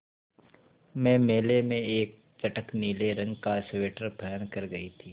मैं मेले में एक चटख नीले रंग का स्वेटर पहन कर गयी थी